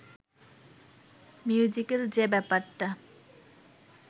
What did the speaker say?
musical যে ব্যাপারটা